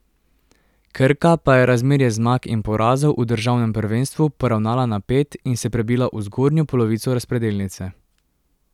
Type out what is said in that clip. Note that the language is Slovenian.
Krka pa je razmerje zmag in porazov v državnem prvenstvu poravnala na pet in se prebila v zgornjo polovico razpredelnice.